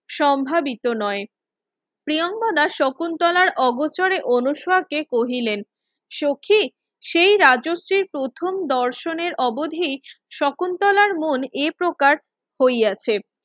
সম্ভাবিত নয় প্রিয়নগদা শকুন্তলার অগোচরে অনুসরাকে কহিলেন সখি সেই রাজশ্রীর প্রথম দর্শনের অবধি শকুন্তলার মন এ প্রকার হইয়াছে